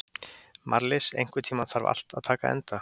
Marlís, einhvern tímann þarf allt að taka enda.